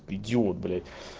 идиот блять